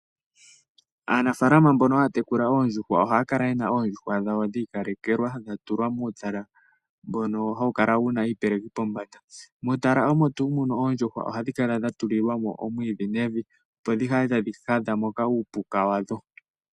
Aanafaalama mboka haa tekula oondjuhwa ohaa kala ye na oondjuhwa dhawo dhi ikalekelwa dha tulwa muutala mboka hawu kala wa tulwa iipeleki pombanda. Muutala omo tuu muno oondjuhwa ohadhi kala dha tulilwa mo omwiidhi nevi, opo dhi kale tadhi hadha mo uupuka wadho.